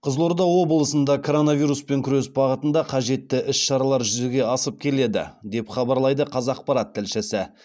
қызылорда облысында коронавируспен күрес бағытында қажетті іс шаралар жүзеге асып келеді деп хабарлайды қазақпарат тілшісі